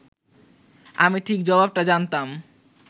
আমি ঠিক জবাবটা জানতাম